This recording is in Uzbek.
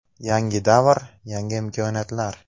Yangi davr – yangi imkoniyatlar!